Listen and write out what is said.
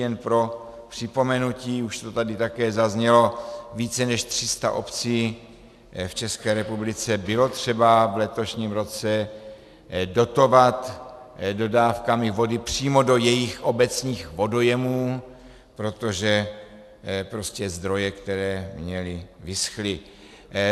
Jen pro připomenutí, už to tady také zaznělo, více než 300 obcí v České republice bylo třeba v letošním roce dotovat dodávkami vody přímo do jejich obecních vodojemů, protože prostě zdroje, které měly, vyschly.